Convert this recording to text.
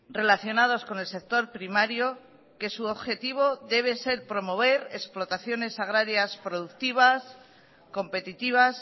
relacionados con el sector primario que su objetivo debe ser promover explotaciones agrarias productivas competitivas